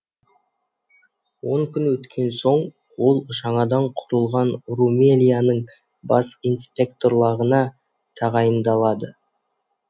он күн өткен соң ол жаңадан құрылған румелияның бас инспекторлығына тағайындалады